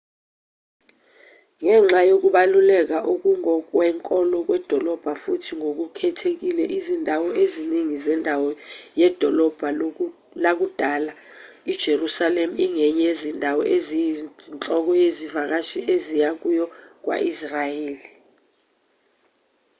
ngenxa yokubaluleka okungokwenkolo kwedolobha futhi ngokukhethekile izindawo eziningi zendawo yedolobha lakudala ijerusalema ingenye yezindawo eziyinhloko izivakashi eziya kuyo kwa-israyeli